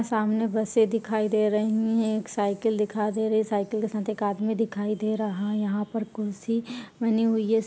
सामने बसे दिखाई दे रही है एक साइकिल दिखाई दे रही है साइकिल के साथ एक आदमी दिखाई दे रहा है यहां पर कुर्सी बनी हुई है --